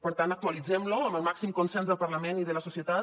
per tant actualitzem lo amb el màxim consens del parlament i de la societat